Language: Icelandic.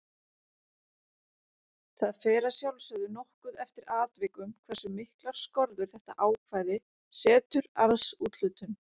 Það fer að sjálfsögðu nokkuð eftir atvikum hversu miklar skorður þetta ákvæði setur arðsúthlutun.